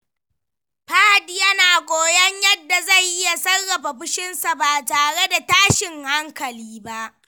Fahad yana koyon yadda zai iya sarrafa fushinsa ba tare da tashin hankali ba.